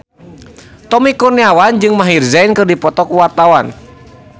Tommy Kurniawan jeung Maher Zein keur dipoto ku wartawan